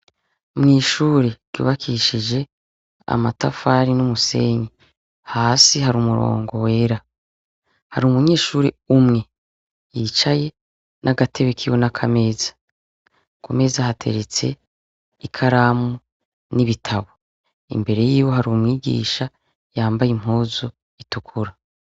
Mw'ishure ryubakishije amatafari n'umusenyi hasi hari umurongo wera hari umunyeshuri umwe yicaye n'agatebe kiwo n'akameza kumeza hateretse ikaramu n'ibitabo imbere yiwe hari umwigisha yamba aye impuzu itukura.